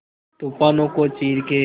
तूफानों को चीर के